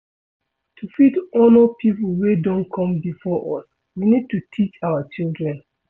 to fit honor pipo wey don come before us we need to teach our children